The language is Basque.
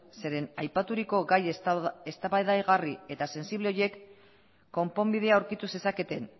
zeren aipaturiko gai eztabaidagarri eta sensible horiek konponbidea aurkitu zezaketen